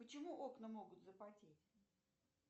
почему окна могут запотеть